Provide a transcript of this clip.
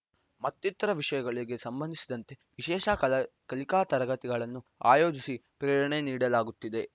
ಮತ್ತಿತರ ವಿಷಯಗಳಿಗೆ ಸಂಬಂಧಿಸಿದಂತೆ ವಿಶೇಷ ಕಲಿಕಾ ತರಗತಿಗಳನ್ನು ಆಯೋಜಿಸಿ ಪ್ರೇರಣೆ ನೀಡಲಾಗುತ್ತಿದೆ